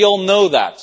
We all know that.